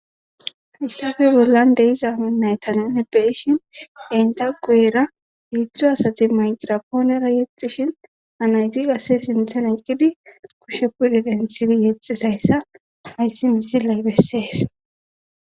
hayssafe bollan de'iza nayta nuni be'ishin enta quyera hiitzdzu asati mayirapoonera yexxishin anaytiasse sinthen ayqqidi kushepudi denthidi yexxisayssa hayssi misilay bessees